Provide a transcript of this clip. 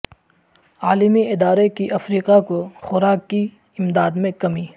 عالمی ادارے کی افریقہ کو خوراک کی امداد میں کمی